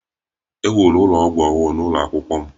E wuru ụlọ ọgwụ ọhụrụ n'ụlọ akwụkwọ m